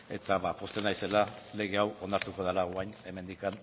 eta pozten naizela lege hau onartuko dela orain hemendik